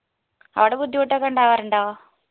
ആട ബുദ്ധിമുട്ടൊക്കെയുണ്ടാവറുണ്ടോ